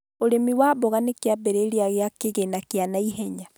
Ũrĩmi wa mboga nĩ kĩambĩrĩria kĩa kĩgĩna kĩa naihenya